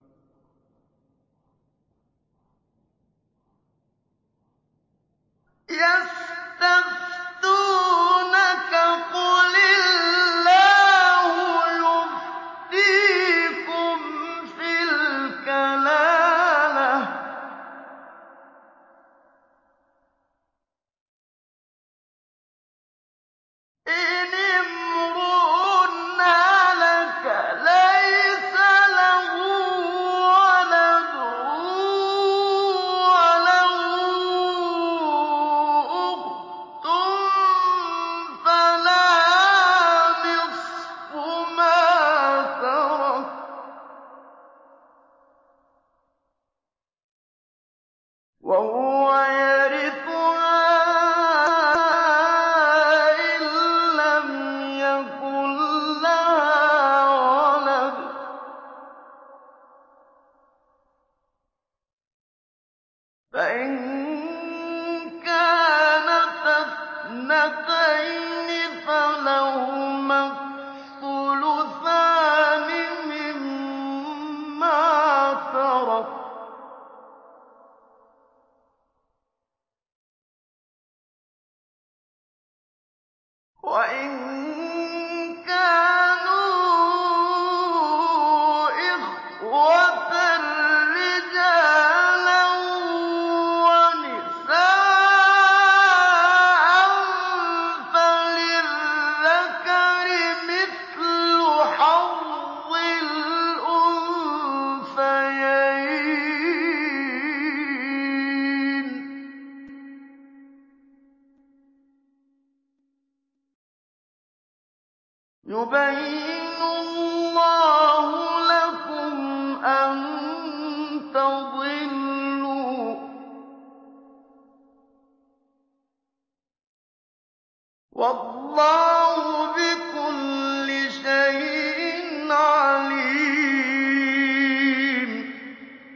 يَسْتَفْتُونَكَ قُلِ اللَّهُ يُفْتِيكُمْ فِي الْكَلَالَةِ ۚ إِنِ امْرُؤٌ هَلَكَ لَيْسَ لَهُ وَلَدٌ وَلَهُ أُخْتٌ فَلَهَا نِصْفُ مَا تَرَكَ ۚ وَهُوَ يَرِثُهَا إِن لَّمْ يَكُن لَّهَا وَلَدٌ ۚ فَإِن كَانَتَا اثْنَتَيْنِ فَلَهُمَا الثُّلُثَانِ مِمَّا تَرَكَ ۚ وَإِن كَانُوا إِخْوَةً رِّجَالًا وَنِسَاءً فَلِلذَّكَرِ مِثْلُ حَظِّ الْأُنثَيَيْنِ ۗ يُبَيِّنُ اللَّهُ لَكُمْ أَن تَضِلُّوا ۗ وَاللَّهُ بِكُلِّ شَيْءٍ عَلِيمٌ